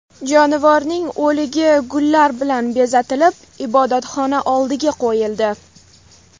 Jonivorning o‘ligi gullar bilan bezatilib ibodatxona oldiga qo‘yildi.